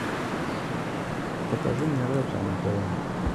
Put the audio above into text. покажи мне ретро на тв